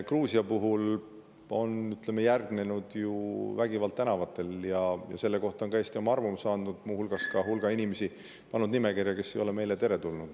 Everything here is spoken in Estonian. Gruusias on järgnenud vägivald tänavatel ja selle kohta on ka Eesti oma arvamuse andnud, muu hulgas pannud nimekirja hulga inimesi, kes ei ole meile teretulnud.